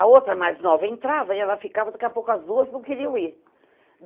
A outra, mais nova, entrava e ela ficava, daqui a pouco as duas não queriam ir.